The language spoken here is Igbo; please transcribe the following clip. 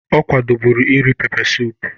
Ọ kwadoburu iri pepe suup